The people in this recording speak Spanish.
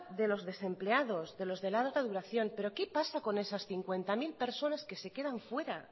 de los desempleados de los de larga duración pero qué pasa con esas cincuenta mil personas que se quedan fuera